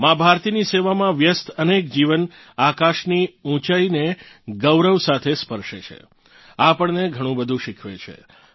મા ભારતીની સેવામાં વ્યસ્ત અનેક જીવન આકાશની ઊંચાઇને ગૌરવ સાથે સ્પર્શે છે આપણને ઘણું બધું શીખવે છે